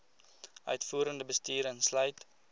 uitvoerende bestuur insluit